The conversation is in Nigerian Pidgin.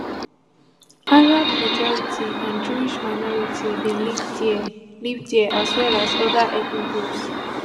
arab majority and jewish minority bin live dia live dia as well as oda ethnic groups